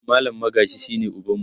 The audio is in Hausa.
mallam Magaji shine ubanmu